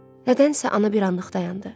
Nədənsə ana bir anlıq dayandı.